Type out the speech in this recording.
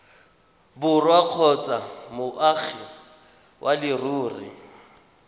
borwa kgotsa moagi wa leruri